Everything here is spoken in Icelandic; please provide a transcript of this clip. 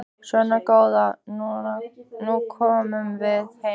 Svona góða, nú komum við heim.